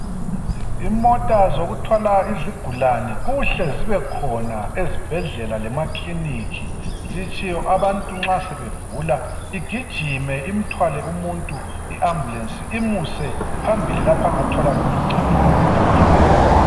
Imota zokuthwala izigulane kuhle zibekhona ezibhedlela lemakiliniki zitshiwo abantu nxa sebegula igijime imthwale umuntu iambulenci imuse phambili lapha angathola khona uncedo ngokuphuthuma.